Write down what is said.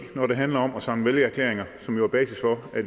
når det handler om at samle vælgererklæringer som jo er basis for at